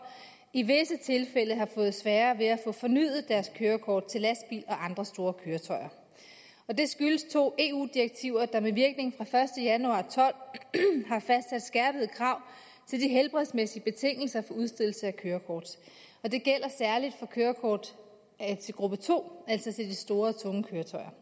i visse tilfælde har fået sværere ved at få fornyet deres kørekort til lastbil andre store køretøjer det skyldes to eu direktiver der med virkning fra første januar og tolv har fastsat skærpede krav til de helbredsmæssige betingelser for udstedelse af kørekort det gælder særlig for kørekort til gruppe to altså til de store tunge køretøjer